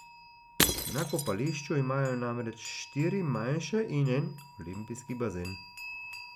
Na kopališču imajo namreč štiri manjše in en olimpijski bazen.